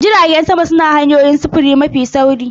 Jiragen sama su ne hanyoyin sufuri mafi sauri.